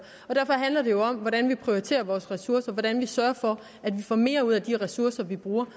derfor handler det jo om hvordan vi prioriterer vores ressourcer hvordan vi sørger for at vi får mere ud af de ressourcer vi bruger